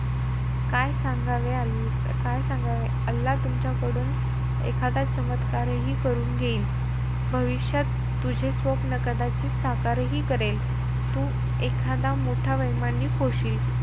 काय सांगावे, काय सांगावे? अल्ला तुमच्याकडून एखादा चमत्कार हि करून घेईल. भविष्यात तुझे स्वप्न कदाचित साकारही करेल. तू एखादा मोठा वैमानिक होशील.